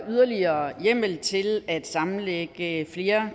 yderligere hjemmel til at sammenlægge flere